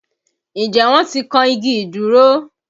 Ǹjẹ́ wọn ti kan igi ìdúró?